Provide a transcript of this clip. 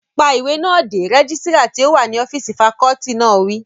Pa ìwé náà dé! rẹ́gísírà tí ó wà ní ọ́físì fakọọti náà wí